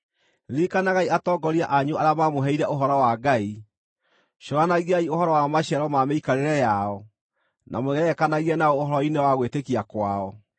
Ririkanagai atongoria anyu arĩa maamũheire ũhoro wa Ngai. Cũranagiai ũhoro wa maciaro ma mĩikarĩre yao, na mwĩgerekanagie nao ũhoro-inĩ wa gwĩtĩkia kwao.